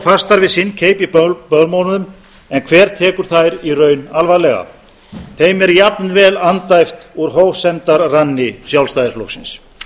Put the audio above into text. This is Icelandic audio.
fastar við sinn keip í bölmóðnum en hver tekur þær í raun alvarlega þeim er jafnvel andæft úr hófsemdarranni sjálfstæðisflokksins